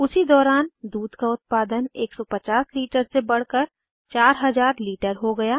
उसी दौरान दूध का उत्पादन 150 लीटर से बढ़कर 4000 लीटर हो गया